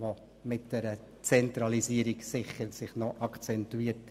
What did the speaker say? Dieses wird durch eine Zentralisierung sicher deutlich akzentuiert.